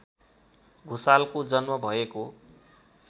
भुसालको जन्म भएको